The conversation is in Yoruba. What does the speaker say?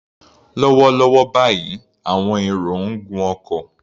Lọ́wọ́lọ́wọ́ báyìí, àwọn èrò ń gun ọkọ̀.